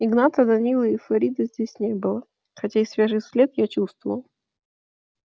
игната данилы и фарида здесь не было хотя их свежий след я чувствовал